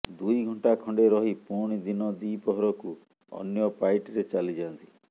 ଦୁଇ ଘଣ୍ଟା ଖଣ୍ଡେ ରହି ପୁଣି ଦିନ ଦି ପହରକୁ ଅନ୍ୟ ପାଇଟିରେ ଚାଲି ଯାଆନ୍ତି